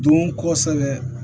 Don kosɛbɛ